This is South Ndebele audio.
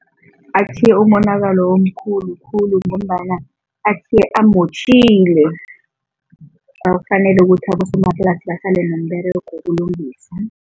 Atjhiye umonakalo omkhulu khulu ngombana atjhiye amotjhile, ukuthi abosomaplasi basale nomberego wokulungisa.